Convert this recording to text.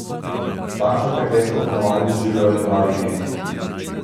Takšno prekletstvo po navadi doživljajo le pravi geniji.